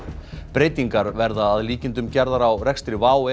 breytingar verða að líkindum gerðar á rekstri WOW